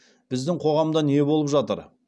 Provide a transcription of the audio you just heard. біздің қоғамда не болып жатыр